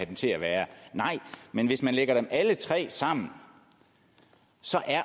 den til at være nej men hvis man lægger dem alle tre sammen